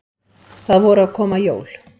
Það voru að koma jól.